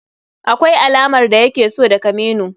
Akwai alamar da yake so daga menu.